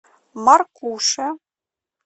маркуше